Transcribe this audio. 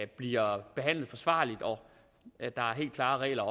bliver behandlet forsvarligt og at der er helt klare regler